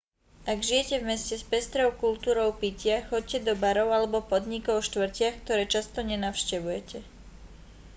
ak žijete v meste s pestrou kultúrou pitia choďte do barov alebo podnikov v štvrtiach ktoré často nenavštevujete